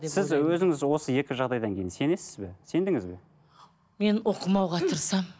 сіз өзіңіз осы екі жағдайдан кейін сенесіз бе сендіңіз бе мен оқымауға тырысамын